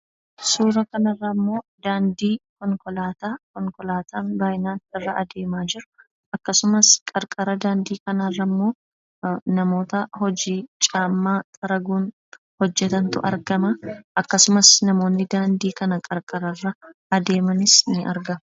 Suura kana irraa immoo daandii konkolaataa, konkolaataan baayyinaan irra adeemaa jiru akkasumas qarqara daandii kanaa irra immoo namoota hojii caammaa xaraguun hojjetantu argamaa akkasumas namoonni daandii kana qarqara irra adeemanis ni argamu.